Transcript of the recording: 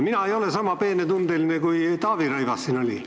Mina ei ole sama peenetundeline, kui Taavi Rõivas oli.